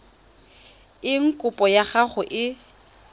eng kopo ya gago e